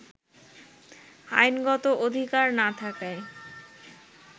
আইনগত অধিকার না থাকায়